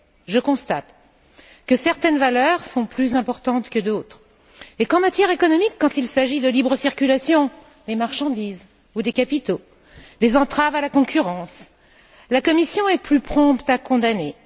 Je constate que certaines valeurs sont plus importantes que d'autres et qu'en matière économique, quand il s'agit de libre circulation des marchandises ou des capitaux, des entraves à la concurrence, la Commission est plus prompte à condamner.